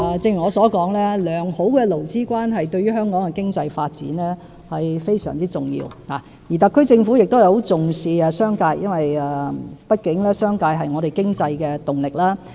正如我所說，良好的勞資關係對香港的經濟發展是非常重要的，而特區政府亦很重視商界，畢竟商界是本港經濟的動力。